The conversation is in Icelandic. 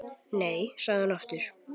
Nei, sagði hún aftur.